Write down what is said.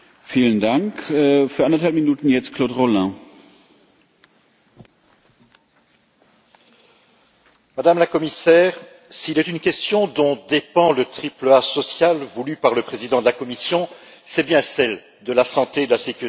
Monsieur le Président, Madame la Commissaire, s'il est une question dont dépend le triple A social voulu par le président de la Commission, c'est bien celle de la santé et de la sécurité des salariés.